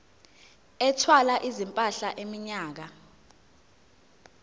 ethwala izimpahla iminyaka